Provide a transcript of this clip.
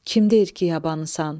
Kim deyir ki, yabanısan?